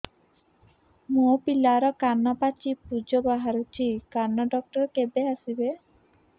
ମୋ ପିଲାର କାନ ପାଚି ପୂଜ ବାହାରୁଚି କାନ ଡକ୍ଟର କେବେ ଆସିବେ